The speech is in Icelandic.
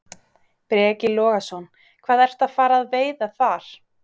Breki Logason: Hvað ertu að fara að veiða þar?